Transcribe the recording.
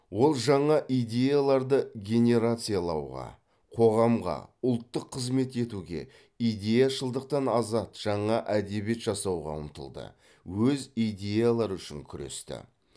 ол жаңа идеяларды генерациялауға қоғамға ұлттық қызмет етуге идеяшылдықтан азат жаңа әдебиет жасауға ұмтылды өз идеялары үшін күресті